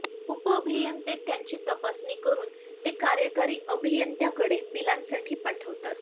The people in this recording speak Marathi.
उपअभियंते त्यांची तपासणी करून ते कार्यकारी अभियंत्यांकडे बिलांसाठी पाठवितात